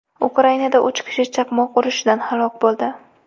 Ukrainada uch kishi chaqmoq urishidan halok bo‘ldi.